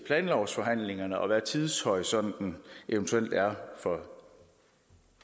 planlovsforhandlingerne og til hvad tidshorisonten eventuelt er for